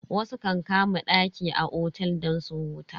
Wasu kan kama daki a otel don su huta.